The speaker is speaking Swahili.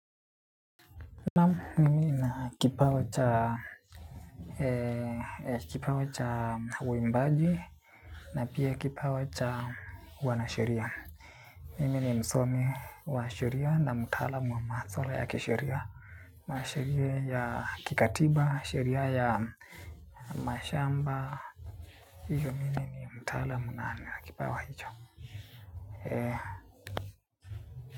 Na mimi na kipawa cha kipawa cha uimbaji na pia kipawa cha uwanasheria. Mimi ni msomi wa sheria na mtalamu wa maswala ya kisheria na sheria ya kikatiba, sheria ya mashamba, hivyo mimi na mtalamu na kipawa hicho.